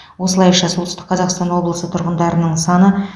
осылайша солтүстік қазақстан облысы тұрғындарының саны